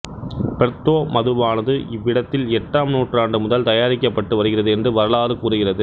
Porto மதுவானது இவ்விடத்தில் எட்டாம் நூற்றாண்டு முதல் தயாரிக்கப்பட்டு வருகிறது என்று வரலாறு கூறுகிறது